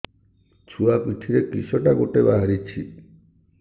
ଛୁଆ ପିଠିରେ କିଶଟା ଗୋଟେ ବାହାରିଛି